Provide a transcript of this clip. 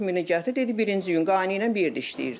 40000-i gətir, dedi birinci gün qaynı ilə bir yerdə işləyirdi.